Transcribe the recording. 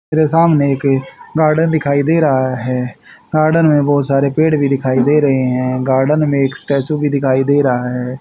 मेरे सामने एक गार्डन दिखाई दे रहा है गार्डन में बहोत सारे पेड़ भी दिखाई दे रहे है गार्डन में एक स्टैचू भी दिखाई दे रहा है।